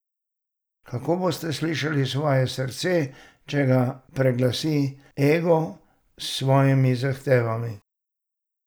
Kako boste slišali svoje srce, če ga preglasi ego s svojimi zahtevami?